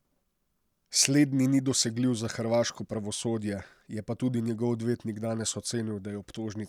Slednji ni dosegljiv za hrvaško pravosodje, je pa tudi njegov odvetnik danes ocenil, da je obtožnica neutemeljena.